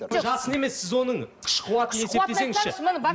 жасын емес сіз оның күш қуатын есептесеңізші